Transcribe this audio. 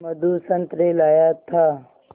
मधु संतरे लाया था